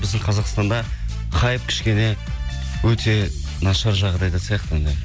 біздің қазақстанда хайп кішкене өте нашар жағдайда сияқты енді